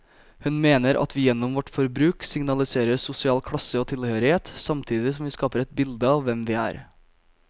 Hun mener at vi gjennom vårt forbruk signaliserer sosial klasse og tilhørighet, samtidig som vi skaper et bilde av hvem vi er.